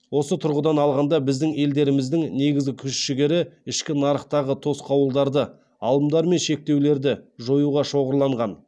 осы тұрғыдан алғанда біздің елдеріміздің негізгі күш жігері ішкі нарықтағы тосқауылдарды алымдар мен шектеулерді жоюға шоғырланған